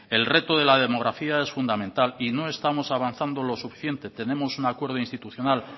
el reto de la demografía es fundamental y no estamos avanzando lo suficiente tenemos un acuerdo institucional